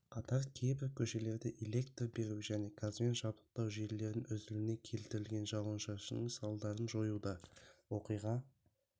қатар кейбір көшелерде электр беру және газбен жабдықтау желілерін үзілуіне келтірген жауын-шашынның салдарын жоюда оқиға